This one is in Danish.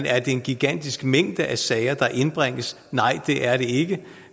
er en gigantisk mængde af sager der indbringes nej det er det ikke